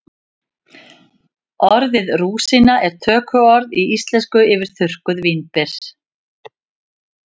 Orðið rúsína er tökuorð í íslensku yfir þurrkuð vínber.